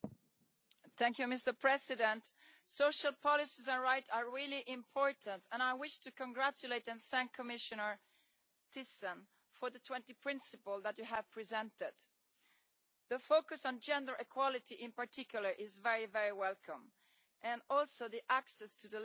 Mr President, social policies are really important and I wish to congratulate and thank Commissioner Thyssen for the 20 principles that you have presented. The focus on gender equality, in particular, is very, very welcome, and also the access to the labour market.